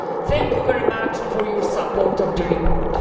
Thank you very much for your support for the report.